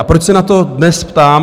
A proč se na to dnes ptám?